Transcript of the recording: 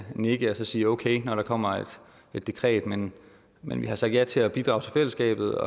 nikke og sige okay når der kommer et dekret men men vi har sagt ja til at bidrage til fællesskabet